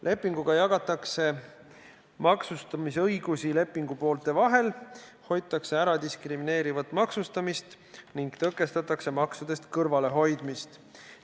Lepinguga jagatakse maksustamisõigused lepingupoolte vahel, hoitakse ära diskrimineerivat maksustamist ning tõkestatakse maksudest kõrvalehoidmist.